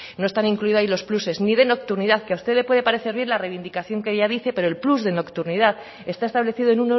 no están incluidos ahí los pluses ni de nocturnidad que a usted le puede servir la reivindicación que ella dice pero el plus de nocturnidad está establecido en